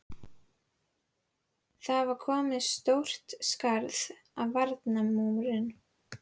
Það var komið stórt skarð í varnarmúrinn!